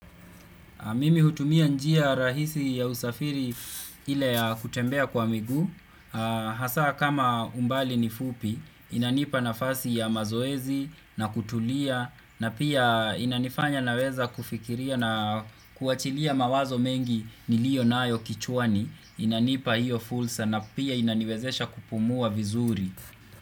Mimi hutumia njia rahisi ya usafiri ile ya kutembea kwa miguu. Hasa kama umbali ni fupi, inanipa nafasi ya mazoezi na kutulia na pia inanifanya naweza kufikiria na kuachilia mawazo mengi niliyo nayo kichwani. Inanipa hiyo fursa na pia inaniwezesha kupumua vizuri.